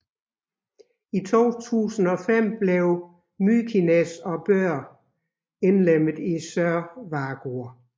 I 2005 blev Mykines og Bøur indlemmede i Sørvágur